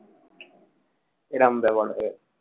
এটা আমি ব্যবহার করব।